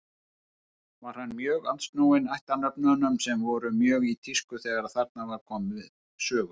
Var hann mjög andsnúinn ættarnöfnunum sem voru mjög í tísku þegar þarna var komið sögu.